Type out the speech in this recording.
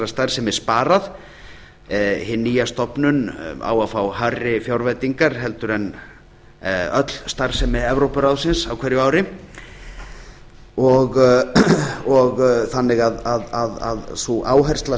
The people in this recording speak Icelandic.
starfsemi sparað hin nýja stofnun á að fá hærri fjárveitingar heldur en öll starfsemi evrópuráðsins á hverju ári þannig að sú áhersla